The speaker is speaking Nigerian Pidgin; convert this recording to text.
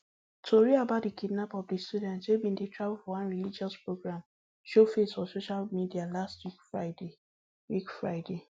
tori about di kidnap of di students wey bin dey travel for one religious programme show face for social media last week friday week friday